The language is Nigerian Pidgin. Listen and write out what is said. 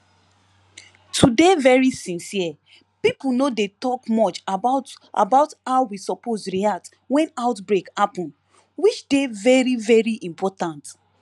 to dey very sincere pipo no dey talk much about about how we suppose react when outbreak happen which dey very very important